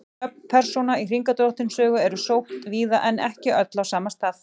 Nöfn persóna í Hringadróttinssögu eru sótt víða en ekki öll á sama stað.